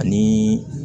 Ani